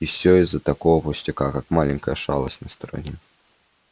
и всё из-за такого пустяка как маленькая шалость на стороне